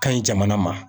Ka ɲi jamana ma